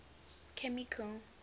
chemical